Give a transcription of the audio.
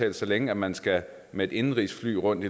at så længe man skal med et indenrigsfly rundt